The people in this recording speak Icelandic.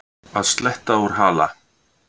Að sletta úr hala